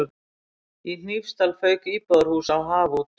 Í Hnífsdal fauk íbúðarhús á haf út.